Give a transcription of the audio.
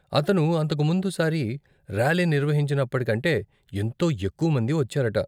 అతను అంతకు ముందు సారి ర్యాలీ నిర్వహించినప్పటికంటే, ఎంతో ఎక్కువమంది వచ్చారట.